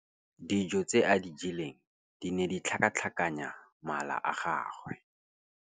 Dijô tse a di jeleng di ne di tlhakatlhakanya mala a gagwe.